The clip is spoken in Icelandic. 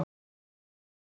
Komið þið bara